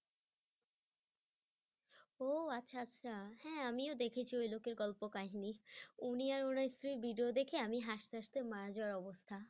ও আচ্ছা আচ্ছা হ্যাঁ আমিও দেখেছি ওই লোকের গল্প কাহিনী উনি আর উনার স্ত্রী এর video দেখি আমি হাসতে হাসতে মারা যাওয়ার অবস্থা